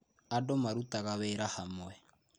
Andũ marutaga wĩra hamwe.